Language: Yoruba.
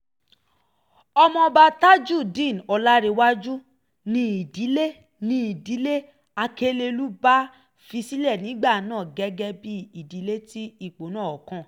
ọmọọba tajudeen ọ̀làǹrẹ̀wájú ni ìdílé ni ìdílé akelelúbá fi sílẹ̀ nígbà náà gẹ́gẹ́ bíi ìdílé tí ipò náà kàn